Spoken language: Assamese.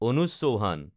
অনুজা চৌহান